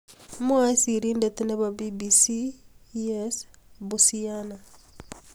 Mwae sirindet nebo BBC Yyes Bucyana.